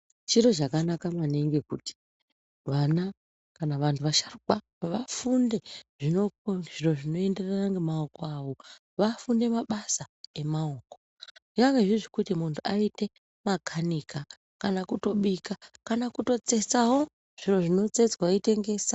Chiro chakanaka maningi kuti vana kana vantu vasharukwa vafunde zviro zvinoenderana ngemaoko awo. Vafunde mabasa emaoko. Nyange zviye zvekuti muntu aite makanika kana kutobika kana kutotsetsawo zviro zvinotsetswa, weitengesa.